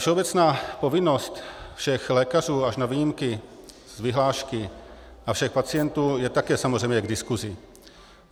Všeobecná povinnost všech lékařů až na výjimky z vyhlášky a všech pacientů je také samozřejmě k diskusi.